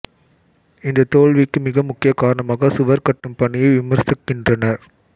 இந்த தோல்விக்கு மிக முக்கிய காரணமாக சுவர் கட்டும் பணியை விமர்சிக்கின்றனர்